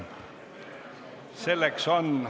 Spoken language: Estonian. Selleks on ...